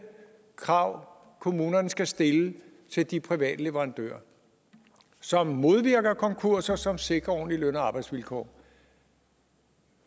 krav kommunerne skal stille til de private leverandører som modvirker konkurser som sikrer ordentlige løn og arbejdsvilkår